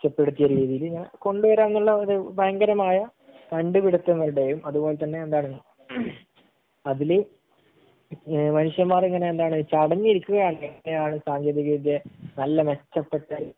മെച്ച പെടുത്തിത്തിയ രീതിയിൽ ഇങ്ങനെ കൊണ്ട് വരാം എന്നുള്ള ഒരു ഭയങ്കരമായ കണ്ട് പിടുത്തങ്ങളുടെയും അത് പോലെ തന്നെ എന്താണ്? ഹ്മ് അതില് ഏഹ് മനുഷ്യന്മാർ ഇങ്ങനെ എന്താണ്? തടഞ്ഞു കൊണ്ടിരിക്കുകയാണ് എത്രയാണ് സാങ്കേന്തിക വിദ്യയെ നല്ല മെച്ചപ്പെട്ട